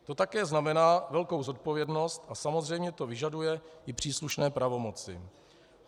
To také znamená velkou zodpovědnost a samozřejmě to vyžaduje i příslušné pravomoci.